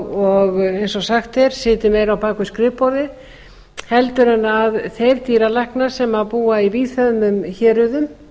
og eins og sagt er sitji meira á bak við skrifborðið en þeir dýralæknar sem búa í víðfeðmum héruðum